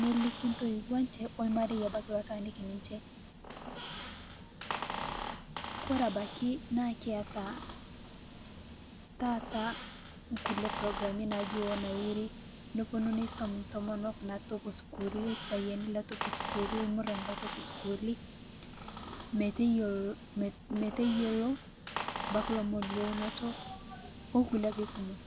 nelikii ntoiwuo enchee o ilmarie obakii loitaaniki ninchee. Kore abakii naa kietaa taata nkulee programii najii Onawiri neponuu neisoom ntomoonok natopoo sukuuli , lpayeeni letopoo sukulii, lmuran letopoo sukulii meteiyeloo abaki lomoon le unoto o nkulee ake kunii.